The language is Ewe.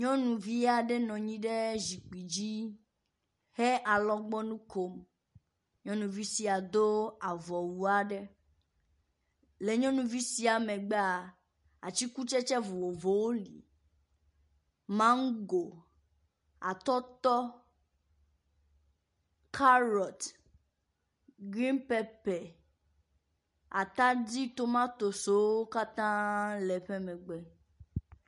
Nyɔnuvi aɖe nɔ nyi ɖe zikpui dzi he alɔgbɔnu kom. Nyɔnuvia sia do avɔwu aɖe. Le nyɔnuvi sia megbea atikutsetse vovovowo li. Mago, atɔtɔ, kaɖɔt, grin pepe, atadi tomatosiwo katã le emegbe.